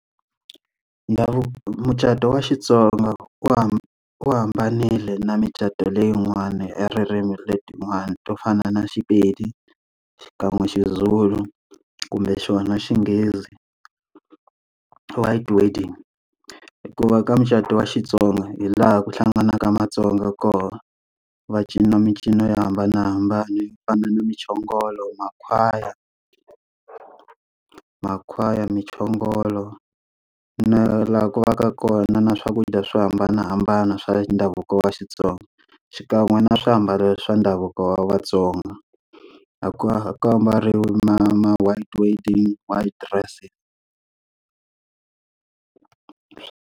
Ndhavuko mucato wa Xitsonga wu wu hambanile na micato leyin'wana ya ririmi letiwani to fana na Sepedi xikan'we xiZulu kumbe xona xinghezi, white wedding hikuva ka mucato wa xitsonga hi laha ku hlanganaka matsonga kona, va cina mincino yo hambanahambana yo fana na mchongolo, makhwaya, makhwaya, mchongolo na laha ku va ka kona na swakudya swo hambanahambana swa ndhavuko wa Xitsonga. Xikan'we na swiambalo swa ndhavuko wa vatsonga, a ku a ku ambariwi ma ma-white wedding white dressing.